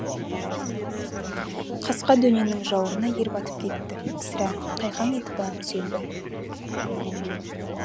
қасқа дөненнің жауырына ер батып кетті сірә қайқаң етіп барып түзелді